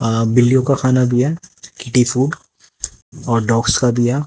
अ बिल्लियों का खाना भी हैं अ डॉग्स का भी है।